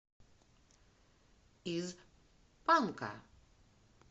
из панка